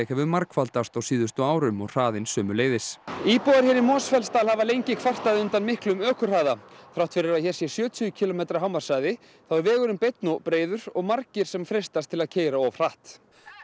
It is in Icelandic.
hefur margfaldast á síðustu árum og hraðinn sömuleiðis íbúar hér í Mosfellsdal hafa lengi kvartað undan of miklum umferðarhraða þrátt fyrir að hér sé sjötíu kílómetra hámarkshraði er vegurinn beinn og breiður og margir sem freistast til að keyra of hratt